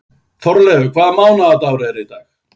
Þórelfur, hvaða mánaðardagur er í dag?